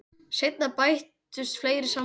Seinna bættust við fleiri samningar.